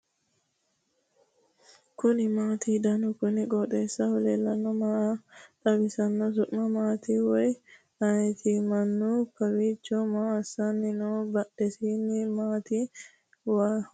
kuni maati ? danu kuni qooxeessaho leellannohu maa xawisanno su'mu maati woy ayeti ? mannu kowiicho maa assanni no badhiidisahu maati waaho ?